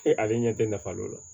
ale ɲɛ tɛ nafa dɔ la